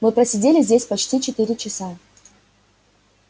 мы просидели здесь почти четыре часа